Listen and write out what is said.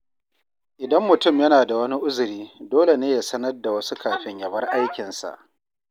Idan mutum yana da wani uzuri, dole ne ya sanar da wasu kafin ya bar aikinsa.